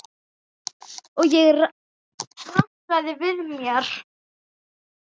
Og ég rankaði við mér.